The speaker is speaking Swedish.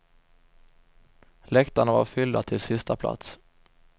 Läktarna var fyllda till sista plats.